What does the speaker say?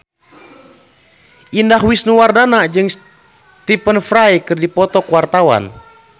Indah Wisnuwardana jeung Stephen Fry keur dipoto ku wartawan